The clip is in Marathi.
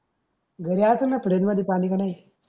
घरी आसन फ्रीज मध्ये पानी का नाही.